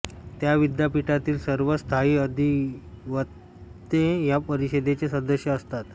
त्या विद्यापिठातील सर्व स्थायी अधिवक्ते या परिषदेचे सदस्य असतात